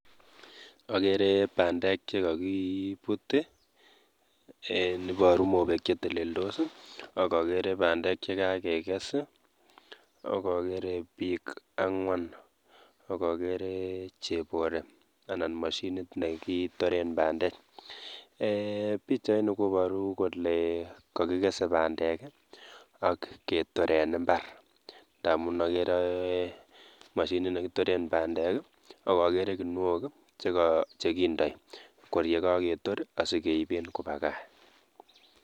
Okeree bandek chekokibut en iboruu mobeek cheteleldos okokeree bandek chekakekes i, okokeree biik ang'wan okokeree chebore anan mashinit nekitoren bandek, eeh pichaini koboru kole kokikese bandek ak ketor en imbar ndamun okeree mashinit nekitoren bandek akokeree kinuok chekindoi kor yekoketor sikeiben kobakaa.